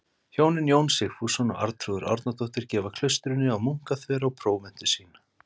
Hjónin Jón Sigfússon og Arnþrúður Árnadóttir gefa klaustrinu á Munkaþverá próventu sína.